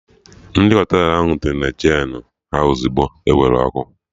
Ndị Họtelụ tinyere Jenụ ha ozigbo ewere ọkụ